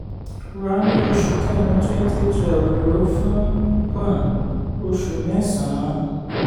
ra ní oṣù kẹrin twenty twelve lo fún um oṣù mẹ́sàn-án.